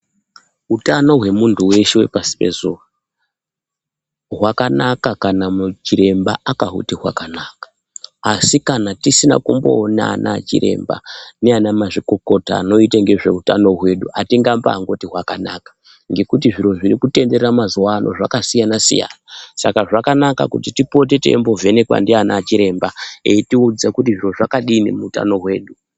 Utano hwemunthu weshe wepashi pezuwa hwakanaka kanamuchiremba akahuti hwakanaka asi kana tisina kumboonana nachiremba naana mazvikokota anoite ngezveutano hwedu atingambaangoti hwakanaka ngekuti zviro zviri kutenderera mazuwaano zvakambasiyanasiyana saka zvakanaka kuti tipote teimbovhenekwa ndiana chiremba eitiudze kuti zviro zvakadini muutano hwedu.